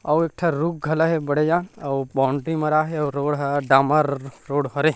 अउ एक ठ रुख घला हे बड़े जान अउ बाउंड्री मारा हे अउ रोड ह डामर रोड हरे।